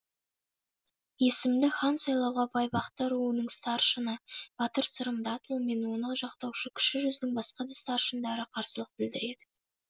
есімді хан сайлауға байбақты руының старшыны батыр сырым датұлы мен оны жақтаушы кіші жүздің басқа да старшындары қарсылық білдіреді